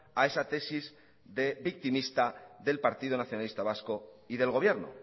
a esa tesis de victimista del partido nacionalista vasco y del gobierno